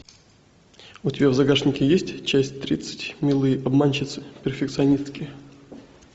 у тебя в загашнике есть часть тридцать милые обманщицы перфекционистки